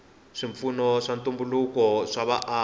swipfuno swa ntumbuluko swa vaaki